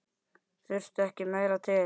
Þurfti ekki meira til.